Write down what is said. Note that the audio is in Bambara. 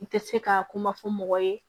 N tɛ se ka kuma fɔ mɔgɔ ye